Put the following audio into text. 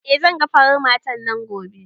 Eh zan ga farar matar nan gobe